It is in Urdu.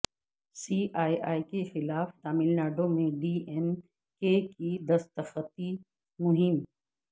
سی اے اے کیخلاف ٹاملناڈو میں ڈی ایم کے کی دستخطی مہم